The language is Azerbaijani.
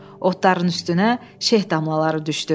Otların üstünə şeh damlaları düşdü.